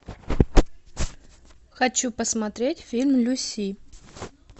хочу посмотреть фильм люси